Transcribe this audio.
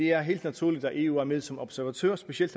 er helt naturligt at eu er med som observatør specielt